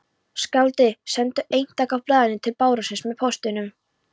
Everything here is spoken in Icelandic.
Skáldið sendi eintak af blaðinu til barónsins með póstinum.